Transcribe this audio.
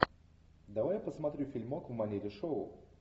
давай посмотрю фильмок в манере шоу